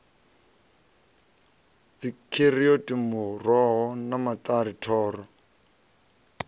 dzikheroti muroho wa maṱari thoro